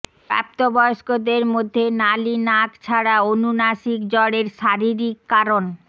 প্রাপ্তবয়স্কদের মধ্যে নালী নাক ছাড়া অনুনাসিক জড়ের শারীরিক কারণ